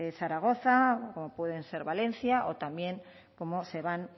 zaragoza o como pueden ser valencia o también como se van